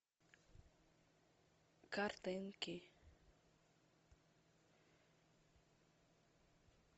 картинки